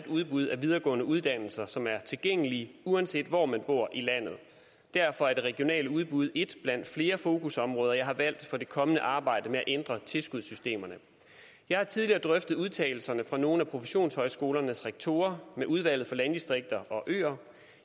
udbud af videregående uddannelser som er tilgængelige uanset hvor man bor i landet derfor er det regionale udbud et blandt flere fokusområder jeg har valgt for det kommende arbejde med at ændre tilskudssystemerne jeg har tidligere drøftet udtalelserne fra nogle af professionshøjskolernes rektorer med udvalget for landdistrikter og øer